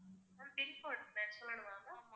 pincode சொல்லனுமா ma'am